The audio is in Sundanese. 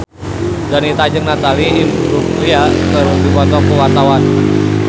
Donita jeung Natalie Imbruglia keur dipoto ku wartawan